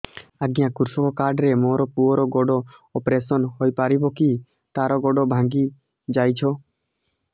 ଅଜ୍ଞା କୃଷକ କାର୍ଡ ରେ ମୋର ପୁଅର ଗୋଡ ଅପେରସନ ହୋଇପାରିବ କି ତାର ଗୋଡ ଭାଙ୍ଗି ଯାଇଛ